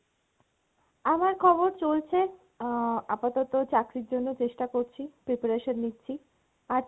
আমার খবর চলছে আহ আপাতত চাকরির জন্য চেষ্টা করছি, preparation নিচ্ছি, আর